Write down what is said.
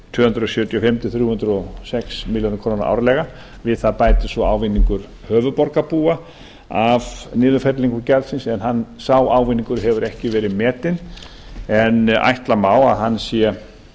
tvö hundruð sjötíu og fimm til þrjú hundruð og sex milljónir króna árlega við það bætist svo ávinningur höfuðborgarbúa af niðurfellingu gjaldsins en sá ávinningur hefur ekki verið metinn en ætla má að hann sé